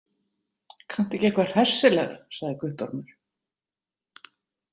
Kanntu ekki eitthvað hressilegra, sagði Guttormur.